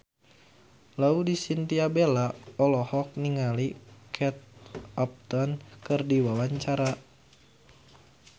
Laudya Chintya Bella olohok ningali Kate Upton keur diwawancara